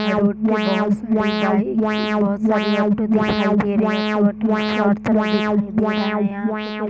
road पे बहुत सारी बाइक बहुत सारी ऑटो दिखाई दे रही है ऑटो ऑटो शॉर्ट शॉर्ट दिखाई दे रहा है यहां पे कुछ --